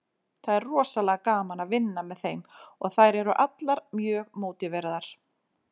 Það er rosalega gaman að vinna með þeim og þær eru allar mjög mótiveraðar.